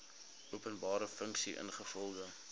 openbare funksie ingevolge